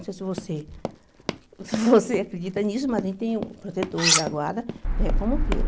Não sei se você você acredita nisso, mas a gente tem protetores da guarda, né como queira.